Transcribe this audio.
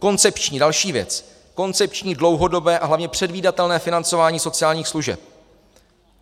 Koncepční - další věc - koncepční, dlouhodobé a hlavně předvídatelné financování sociálních služeb.